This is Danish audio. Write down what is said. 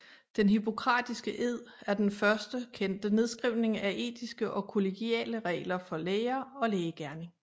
Den hippokratiske ed er den første kendte nedskrivning af etiske og kollegiale regler for læger og lægegerning